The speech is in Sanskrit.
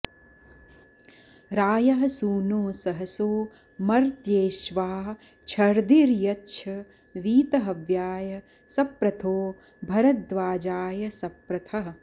रा॒यः सू॑नो सहसो॒ मर्त्ये॒ष्वा छ॒र्दिर्य॑च्छ वी॒तह॑व्याय स॒प्रथो॑ भ॒रद्वा॑जाय स॒प्रथः॑